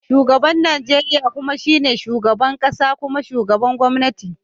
Shugaban Najeriya kuma shine shugaban kasa kuma shugaban gwamnati.